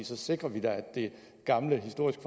så sikrer vi da at det gamle historiske